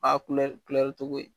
Aa kulɛri kulɛri cogo